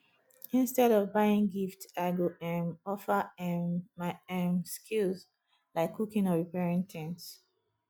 instead of buying gift i go um offer um my um skills like cooking or repairing things